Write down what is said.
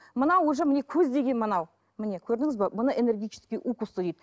мынау уже міне көздеген мынау міне көрдіңіз бе мұны энергетические укусы дейді